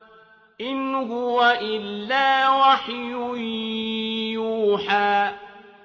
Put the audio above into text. إِنْ هُوَ إِلَّا وَحْيٌ يُوحَىٰ